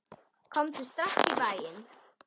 Komdu strax í bæinn.